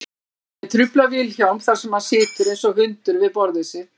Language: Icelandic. Ég trufla Vilhjálm þar sem hann situr einsog hundur við borðið sitt.